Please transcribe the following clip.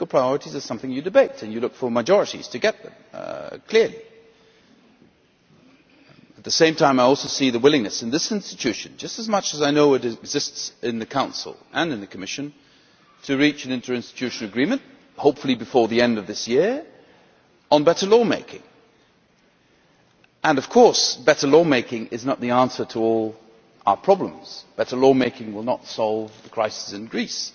Political priorities are something you debate, and you look for majorities to get them, clearly. At the same time I also see the willingness in this institution, just as much as I know it exists in the Council and in the Commission, to reach an interinstitutional agreement hopefully before the end of this year on better law making. Of course, better law making is not the answer to all our problems better law making will not solve the crisis in Greece